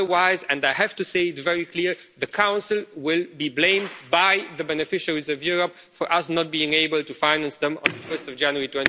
Otherwise and I have to say it very clearly the Council will be blamed by the beneficiaries of Europe for us not being able to finance them on 1 January